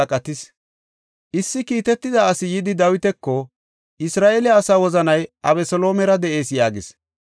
Issi kiitetida asi yidi Dawitako, “Isra7eele asaa wozanay Abeseloomera de7ees” yaagis.